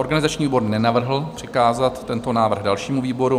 Organizační výbor nenavrhl přikázat tento návrh dalšímu výboru.